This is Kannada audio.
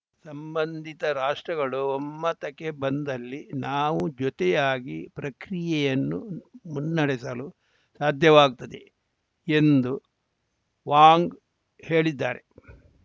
ಸಂಬಂಧಿತ ರಾಷ್ಟ್ರಗಳು ಒಮ್ಮತಕ್ಕೆ ಬಂದಲ್ಲಿ ನಾವು ಜೊತೆಯಾಗಿ ಪ್ರಕ್ರಿಯೆಯನ್ನು ಮುನ್ನಡೆಸಲು ಸಾಧ್ಯವಾಗುತ್ತದೆ ಎಂದು ವಾಂಗ್‌ ಹೇಳಿದ್ದಾರೆ